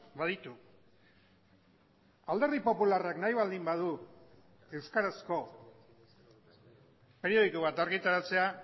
baditu alderdi popularrak nahi baldin badu euskarazko periodiko bat argitaratzea